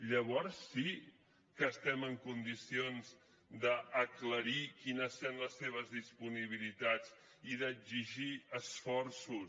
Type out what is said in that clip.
llavors sí que estem en condicions d’aclarir quines seran les seves disponibilitats i d’exigir esforços